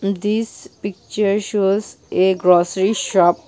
this picture shows a grocery shop.